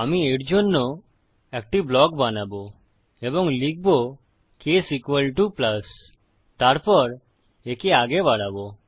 আমি এর জন্য একটি ব্লক বানাবো এবং লিখবো কেস প্লাস তারপর একে আগে বাড়াবো